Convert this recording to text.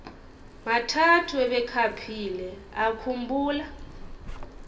mathathu ebekhaphile akhumbula